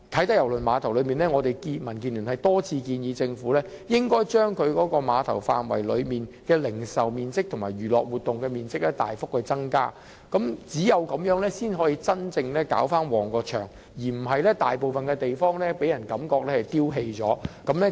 所以，民主建港協進聯盟多次建議政府應該將啟德郵輪碼頭範圍內的零售面積和娛樂活動面積大幅增加，只有這樣才可以真正令該地方興旺起來，而不是令人感覺大部分的地方像被丟棄了。